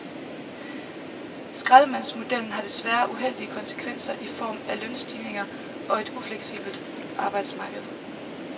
Skraldemandsmodellen har desværre uheldige konsekvenser i form af lønstigninger og et ufleksibelt arbejdsmarked.